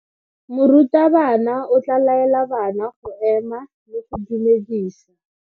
Morutabana o tla laela bana go ema le go go dumedisa.